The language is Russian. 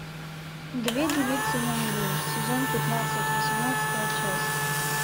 две девицы на мели сезон пятнадцать восемнадцатая часть